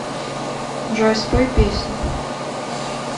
джой спой песню